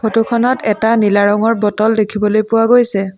ফটোখনত এটা নীলা ৰঙৰ বটল দেখিবলৈ পোৱা গৈছে।